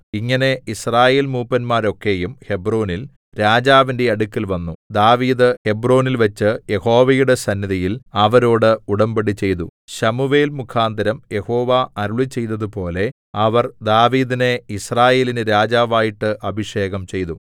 ഇങ്ങനെ യിസ്രായേൽമൂപ്പന്മാരൊക്കെയും ഹെബ്രോനിൽ രാജാവിന്റെ അടുക്കൽ വന്നു ദാവീദ് ഹെബ്രോനിൽവച്ച് യഹോവയുടെ സന്നിധിയിൽ അവരോടു ഉടമ്പടിചെയ്തു ശമൂവേൽ മുഖാന്തരം യഹോവ അരുളിച്ചെയ്തതുപോലെ അവർ ദാവീദിനെ യിസ്രായേലിന് രാജാവായിട്ടു അഭിഷേകം ചെയ്തു